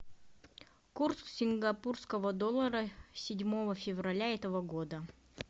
курс сингапурского доллара седьмого февраля этого года